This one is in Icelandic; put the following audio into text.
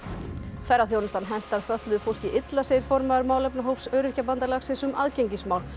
ferðaþjónustan hentar fötluðu fólki illa segir formaður málefnahóps Öryrkjabandalagsins um aðgengismál